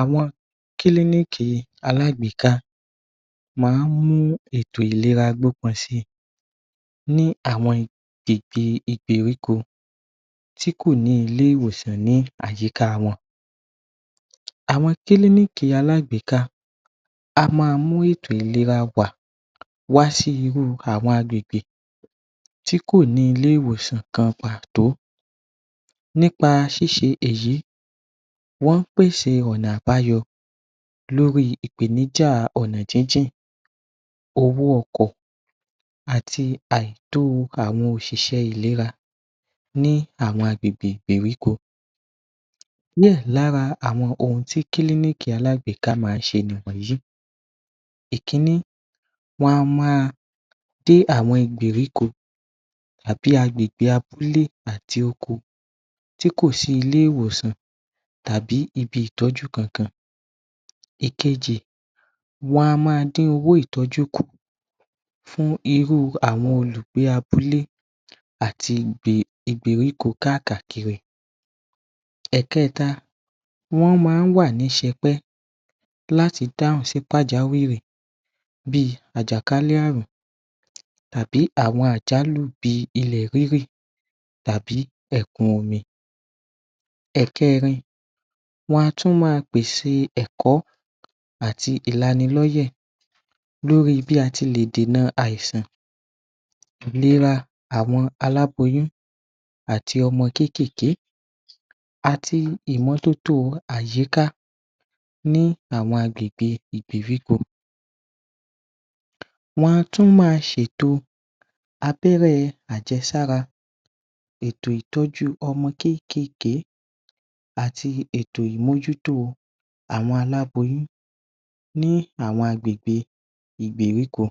Àwọn kílíníìkì alágbèéká máa ń mú ètò ìléra gbópin si ní àwọn agbègbè ìgbèríko tí kò ní Ilé-ìwòsàn ní àyíká wọn àwọn kílíníìkì alágbèéká á ma mú ètò ìléra wà wá sí irú àwọn agbègbè tí kò ní ilé ìwòsàn kan pàtó nípa ṣíṣe èyí wọ́n ń pèsè ọ̀nà àbàyọ lórí ìpèníja ọ̀nà jíjì owó ọkọ̀ àti àìtòó àwọn òṣìṣẹ́ ìléra ní àwọn agbègbè Ìgbèríko díẹ̀ lára àwọn ohun tí kílíníìkì alágbèéká máa ń ṣe ni wọ̀nyìí ìkíní wọ́n á ma dé àwọn Ìgbèríko àbí agbègbè abúlé àti oko tí kò sí ilé-ìwòsàn tàbí ibi ị̀tọ́jú kan kan ìkejì wọ́n á ma dín owó itọ́jú kù fún irú àwọn olùgbé abúlé àti ìgbèríko káà kàkiri ẹ̀kẹ́ta wọ́n máa ń wà ní ṣepẹ́ láti dáhùn sí ìpájàwìrì bí àjàkálẹ̀ àrùn tàbí àwọn àjálù bí ilẹ̀ rírìn tàbí ẹ̀kún omi ẹ̀kẹ́rin wọ́n á tún ma pèse ẹ̀kọ́ àti ìlánilóyè lórí bí a tilè dìna àìsàn ìléra àwọn aláboyún àti ọmọ kékèké àti ìmọ́tótó àyíká ní àwọn agbègbè ìgbèríko wọ́n á tún ma ṣe ètò abẹ́rẹ́ àjẹ́sára ètò ìtọ́jú ọmọ kékèké àti ètò ìmọ́jútó àwọn aláboyún ní àwọn agbègbè Ìgbèríko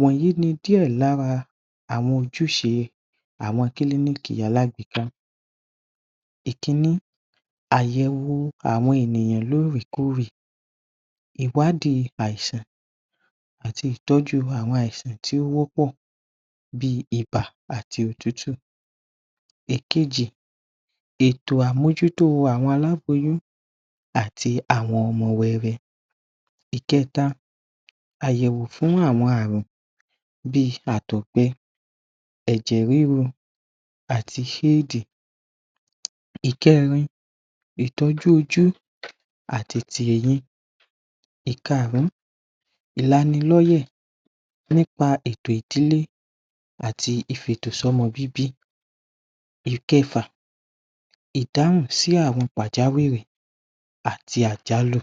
wọ̀nyìí ni díẹ̀ lára àwọn ojúṣe àwọn kílíníìkì alágbèéká ìkíní àyẹ̀wo àwọn ènìyàn lóòrè kóòrè ì̀wádìí àìsan àti ìtọ́jú àwọn àìsàn tí ó pọ̀ bí ibà àti òtútù ìkejì ètò àmọ́jútó àwọn aláboyún àti àwọn ọmọ wẹ́wẹ́ ìkẹ́ẹta àyẹ̀wò fún àwọn àrùn bíi àtọ̀gbẹ ẹ̀jẹ̀ ríru àti ṣíìdì ìkẹ́rin ìtọ́jú ojú àti ti eyín ìkaàrún ìlánilóyè nípa ètò ìdílé àti ìfi-ètò sọ́mọ bíbí ìkẹfà ìdáhùn sí àwọn pàjá wìrì àti àjálù